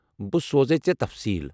بہٕ سوزے ژےٚ تفصیٖل۔